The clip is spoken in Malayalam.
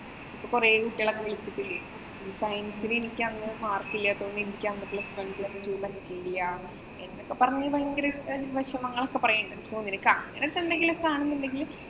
അപ്പൊ കൊറേ കുട്ടികളൊക്കെ വിളിക്കത്തില്ലേ. science ന് എനിക്ക് അങ്ങനെ മാര്‍ക്കില്യട്ടൊ. അങ്ങനത്തെ എന്നൊക്കെ പറഞ്ഞ് നീ ഭയങ്കര വെഷമങ്ങളൊക്കെ പറയുന്നുണ്ട്. നിനക്ക് അങ്ങനെയൊക്കെ ആണെന്നുണ്ടെങ്കില്